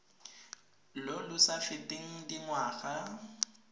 lo lo sa feteng dingwaga